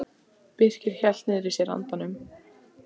Birkir hélt niðri í sér andanum.